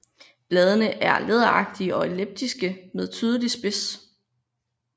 Bladene er læderagtige og elliptiske med tydelig spids